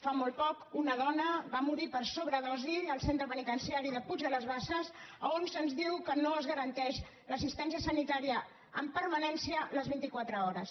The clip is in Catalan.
fa molt poc una dona va morir per sobredosi al centre penitencia·ri puig de les basses on se’ns diu que no es garanteix l’assistència sanitària amb permanència les vint·i·qua·tre hores